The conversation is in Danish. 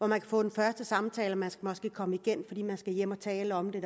man kan få den første samtale man skal måske komme igen fordi man skal hjem og tale om det